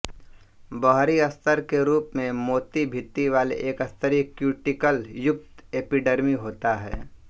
बहरी स्तर के रुप मे मोती भिति वाले एकस्तरीय क्युटीक्ल युक्त एपीडर्मी होता है